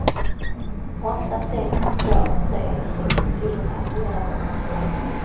åtta sex två tre sextiofyra fyrahundratolv